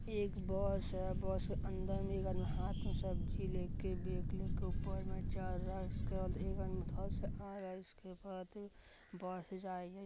यह एक बस है बस में एक आदमी हाथ में सब्जी लेकर बैग लेकर ऊपर में चड़ रहा है एक अंदर से आ रहा है इसके बाद बस --